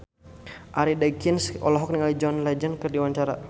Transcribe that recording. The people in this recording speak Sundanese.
Arie Daginks olohok ningali John Legend keur diwawancara